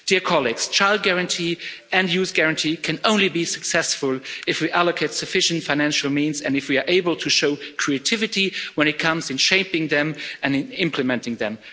Dear colleagues, Child Guarantee and Youth Guarantee can only be successful if we allocate sufficient financial means and if we are able to show creativity when it comes to shaping them and implementing them.